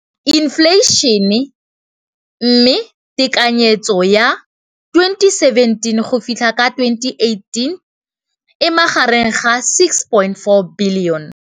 Infleišene, mme tekanyetsokabo ya 2017, 18, e magareng ga R6.4 bilione.